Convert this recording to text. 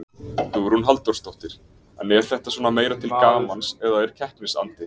Hugrún Halldórsdóttir: En er þetta svona meira til gamans eða er keppnisandi?